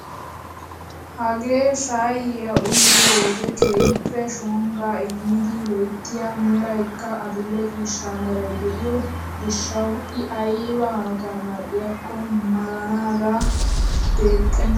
Hagee shayiyaa uyiyoo wode keehippe shoggaa immidi loyttiyaa meraykka adil'e ciishsha meray de'iyoo giishshawu i ayba hanotan mal"iyaakko malanaage deexxena!